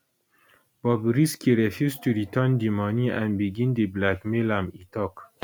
bobrisky refuse to return di money and begin dey blackmail am e tok